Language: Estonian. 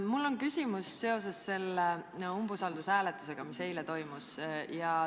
Mul on küsimus seoses selle umbusaldushääletusega, mis eile toimus.